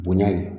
Bonya ye